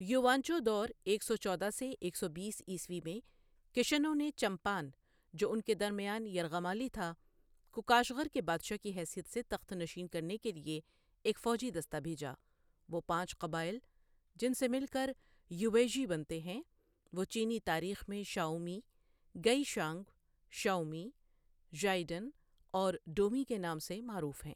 یوانچو دور ایک سو چودہ سے ایک سو بیس عیسوی میں کشانوں نے چنپان، جو اُن کے درمیان یرغمالی تھا، کو کاشغر کے بادشاہ کی حیثیت سے تخت نشین کرنے کے لیے ایک فوجی دستہ بھیجا وہ پانچ قبائل جن سے مل کر یوئیژی بنتے ہیں وہ چینی تاریخ میں شوٴومی، گئی شئنگ، شوئمی، زائڈن اور ڈومی کے نام سے معروف ہیں۔